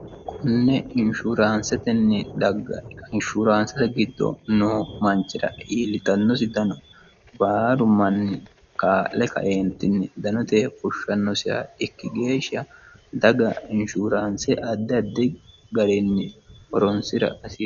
Konne inshuransetenni dagga inshuraansete giddo no manchira iillitannosi dano baaru manni kaa'le kaeentinni danote fushshannosiha ikki geeshsha daga inshuraanse addi addi ga'rinni horonsira hasio